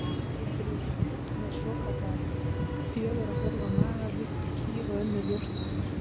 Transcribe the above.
Geitur eru með svokallaðan fjögurra hólfa maga líkt og kýr og önnur jórturdýr.